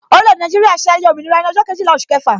Orile-ede Naijiria ṣe ayẹyẹ òmìnira ní ọjọ́ Kejìlá oṣù kẹfà